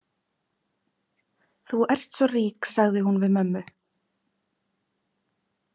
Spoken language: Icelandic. Þú ert svo rík, sagði hún við mömmu.